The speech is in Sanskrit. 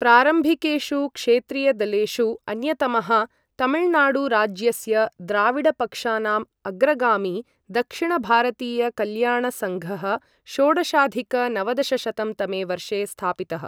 प्रारम्भिकेषु क्षेत्रीयदलेषु अन्यतमः, तमिलनाडुराज्यस्य द्राविडपक्षानाम् अग्रगामी दक्षिणभारतीयकल्याणसङ्घः षोडशाधिक नवदशशतं तमे वर्षे स्थापितः।